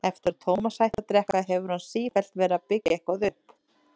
Eftir að Tómas hætti að drekka hefur hann sífellt verið að byggja eitthvað upp.